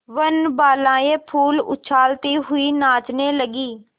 वनबालाएँ फूल उछालती हुई नाचने लगी